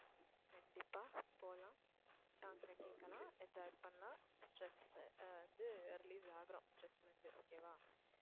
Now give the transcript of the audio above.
கண்டிப்பா போகலாம் song அ கேக்கலாம் enjoy பண்ணலாம் stress அ வந்து release ஆகுறோம் stress ல இருந்து okay வா